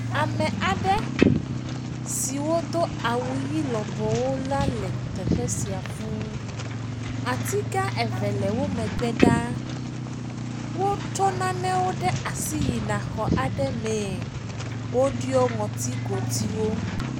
Ame aɖe siwo do awu ɣi lɔbɔwo la le teƒe sia fũu. Ati gã eve le wo megbe ɖaa. Wotsɔ nanewo ɖe asi yina xɔ aɖe mee. Wodiɔ ŋɔtigodiwo